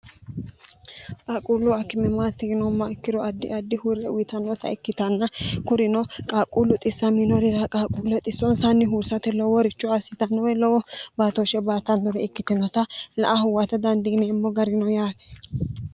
qaaquullu akkimimaatiinoomma ikkiro addi addi huurre wyitannota ikkitanna kurino qaaquullu xissa minorira qaaquulle xissoonsanni huursate lowo richo assitannowe lowo baatooshshe baatannori ikkitinota la a huwata dandiineemmo garino yaate